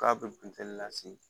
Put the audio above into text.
K'a bɛ funteni lase